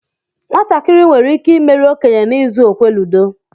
Nwatakịrị nwere ike imeri okenye na-izu okwe ludo.